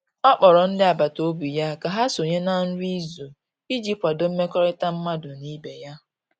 ọ kpọrọ ndi agbata obi ya ka ha sonye na nri izu iji kwado mmekorita madu n'ibe ya